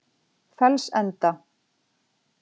Fellsenda